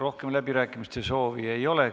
Rohkem läbirääkimiste soovi ei ole.